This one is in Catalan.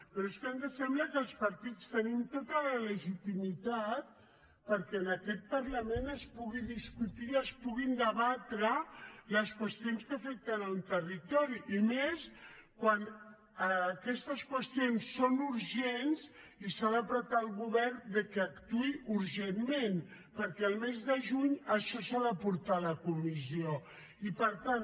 però és que ens sembla que els partits tenim tota la legitimitat perquè en aquest parlament es pugui discutir i es puguin debatre les qüestions que afecten un territori i més quan aquestes qüestions són urgents i s’ha de pressionar el govern que actuï urgentment perquè el mes de juny això s’ha de portar a la comissió i per tant